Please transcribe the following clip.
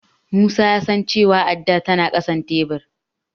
Musa ya san cewa addar tana ƙasan tebur.